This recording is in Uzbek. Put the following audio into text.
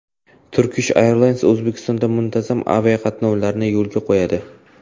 Turkish Airlines O‘zbekistonga muntazam aviaqatnovlarni qayta yo‘lga qo‘yadi.